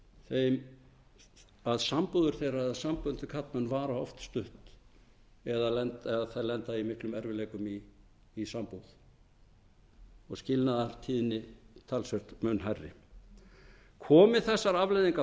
að sambúðir þeirra eða sambönd við karlmenn vara oft stutt eða að þær lenda í miklum erfiðleikum í sambúð og skilnaðartíðni talsvert mun hærri komi þessar afleiðingar